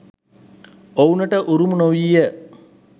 ඔවුනට උරුම නොවීය.